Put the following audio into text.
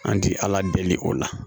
An ti ala deli o la